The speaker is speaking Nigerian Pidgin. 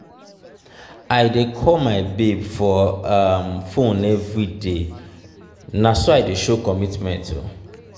i dey call my babe for um fone everyday na so i dey show commitment. um